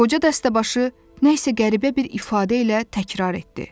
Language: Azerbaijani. Qoca dəstəbaşı nəsə qəribə bir ifadə ilə təkrar etdi.